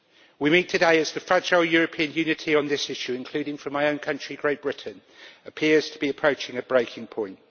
We meet today as the fragile European unity on this issue, including from my own country Great Britain, appears to be approaching a breaking point.